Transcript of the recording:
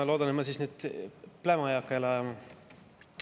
Ma loodan, et ma siis nüüd pläma ei hakka jälle ajama.